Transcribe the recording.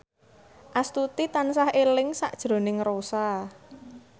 Astuti tansah eling sakjroning Rossa